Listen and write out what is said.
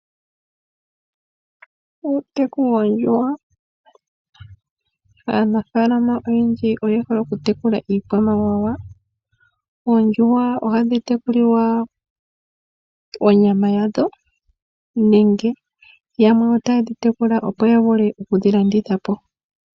Uuteku woondjuhwa. Aanafaalama oyendji oye hole okutekula iikwamawawa. Oondjuhwa ohadhi tekulilwa onyama yadho, nenge yamwe otaye dhi tekula opo ya vule oku dhi landitha po.